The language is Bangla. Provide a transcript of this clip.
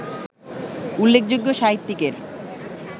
উল্লেখযোগ্য সাহিত্যিকের